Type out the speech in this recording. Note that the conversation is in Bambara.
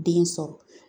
Den sɔrɔ